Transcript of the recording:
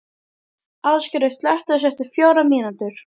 Ásgerður, slökktu á þessu eftir fjórar mínútur.